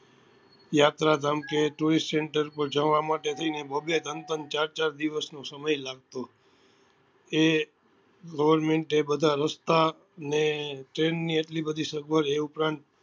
યાત્રા ધામ કે tourist center પર જવા માટે થઇ ને બબે ત્રણ ત્રણ ચાર ચાર દિવસ નો સમય લાગતો એ government એ બધા રસ્તા ને train ની એટલી બધી સગવડ એ ઉપરાંત